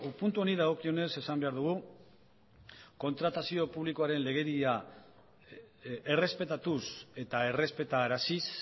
puntu honi dagokionez esan behar dugu kontratazio publikoaren legedia errespetatuz eta errespetaraziz